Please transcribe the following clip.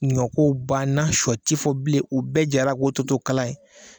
Ɲɔ ko banna, sɔ ko tɛ fɔ bilen. O bɛɛ jara K'o tɔ to kala ye.